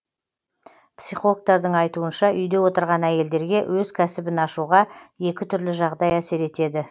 психологтардың айтуынша үйде отырған әйелдерге өз кәсібін ашуға екі түрлі жағдай әсер етеді